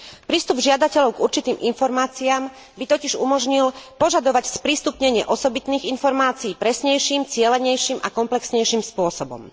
Prístup žiadateľov k určitým informáciám by totiž umožnil požadovať sprístupnenie osobitných informácií presnejším, cielenejším a komplexnejším spôsobom.